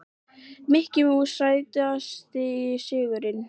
Mikki Mús Sætasti sigurinn?